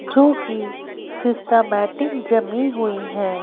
जो कि सिस्टामेटिक जमी हुई है।